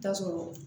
Taa sɔrɔ